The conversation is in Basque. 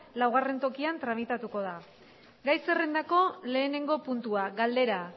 laugarren tokian tramitatuko da gai zerrendako lehenengo puntua galdera